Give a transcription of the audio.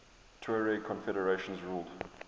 tuareg confederations ruled